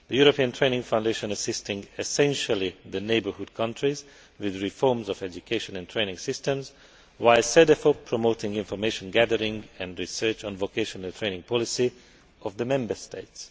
The European Training Foundation assists essentially the neighbourhood countries with reforms of education and training systems, while Cedefop promotes information gathering and research on the vocational training policies of the Member States.